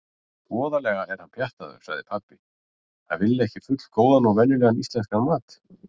Voðalega er hann pjattaður, sagði pabbi: Að vilja ekki fullgóðan og venjulegan íslenskan mat.